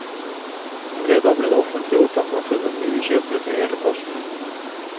Fredag ble det offentliggjort at det var funnet nye kjøpere til hele posten.